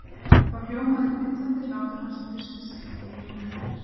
Þá hljómaði dillandi hlátur hans í fyrsta sinn í eyrum hennar.